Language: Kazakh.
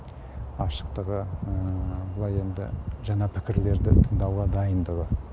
ашықтығы былай енді жаңа пікірлерді тыңдауға дайындығы